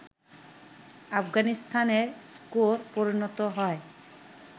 আফগানিস্তানের স্কোর পরিণত হয়